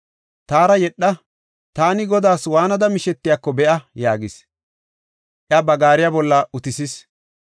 “Taara yedha; taani Godaas waanada mishetiyako be7a” yaagis; iya ba gaariya bolla utisis.